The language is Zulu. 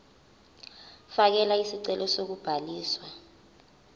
fakela isicelo sokubhaliswa